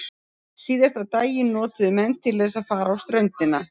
Síðasta daginn notuðu menn til þess að fara á ströndina.